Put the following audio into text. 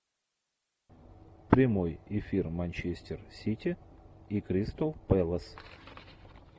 прямой эфир манчестер сити и кристал пэлас